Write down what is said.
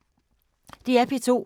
DR P2